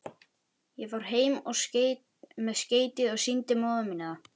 Ég fór heim með skeytið og sýndi móður minni það.